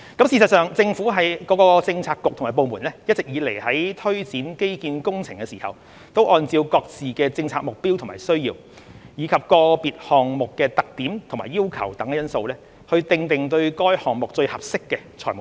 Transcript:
事實上，政府各個政策局和部門一直以來在推展基建工程的時候，會按照各自的政策目標和需要，以及個別項目的特點和要求等因素，訂定對該項目最合適的財務方案。